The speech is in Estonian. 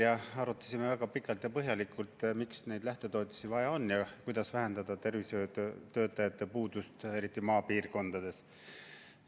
Me arutasime väga pikalt ja põhjalikult, miks neid lähtetoetusi vaja on ja kuidas vähendada tervishoiutöötajate puudust, eriti maapiirkondades.